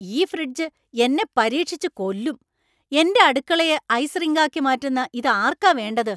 ഈ ഫ്രിഡ്ജ് എന്നെ പരീക്ഷിച്ച് കൊല്ലും. എന്‍റെ അടുക്കളയെ ഐസ് റിങ്കാക്കി മാറ്റുന്ന ഇത് ആർക്കാ വേണ്ടത്?